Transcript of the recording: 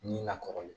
Ni lakɔli